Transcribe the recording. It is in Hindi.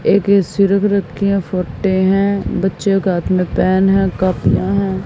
एक ए_सी रख रखी है फोटे है बच्चे का हाथ में पेन है कापियां है।